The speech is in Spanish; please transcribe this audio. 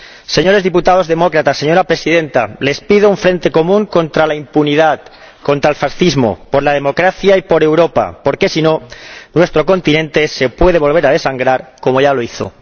Señores diputados demócratas, señora Presidenta, les pido un frente común contra la impunidad, contra el fascismo, por la democracia y por Europa porque, si no, nuestro continente se puede volver a desangrar como ya lo hizo.